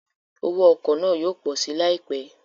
Owó ọkọ̀ náà yóò pọ̀ si láìpẹ́